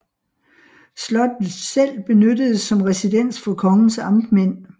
Slottet selv benyttedes som residens for kongens amtmænd